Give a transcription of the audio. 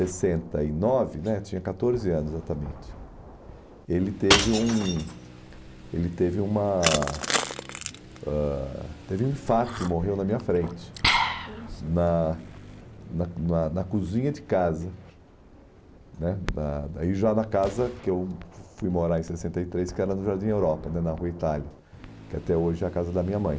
sessenta e nove né, tinha catorze anos exatamente, ele teve um ele teve uma ãh teve um infarto e morreu na minha frente, poxa, na na na na cozinha de casa né, na daí já na casa que eu fui morar em sessenta e três, que era no Jardim Europa, né na Rua Itália, que até hoje é a casa da minha mãe.